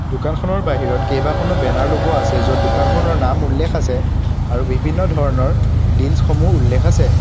দোকানখনৰ বাহিৰত কেইবাখনো বেনাৰ লগোৱা আছে য'ত দোকানখনৰ নাম উল্লেখ আছে আৰু বিভিন্ন ধৰণৰ ডিলচ সমূহ উল্লেখ আছে।